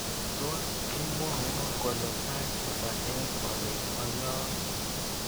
Tos imwowo kole sait hata eng olin bo yok